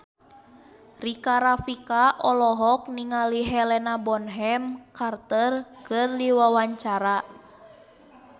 Rika Rafika olohok ningali Helena Bonham Carter keur diwawancara